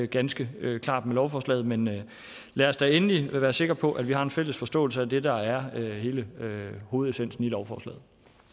ganske klart med lovforslaget men lad os da endelig være sikre på at vi har en fælles forståelse af det der er hele hovedessensen i lovforslaget